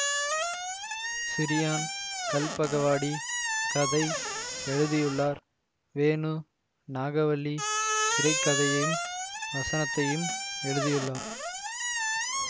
சிறியான் கல்பகவாடி கதை எழுதியுள்ளார் வேணு நாகவள்ளி திரை கதையையும் வசனத்தையும் எழுதியுள்ளார்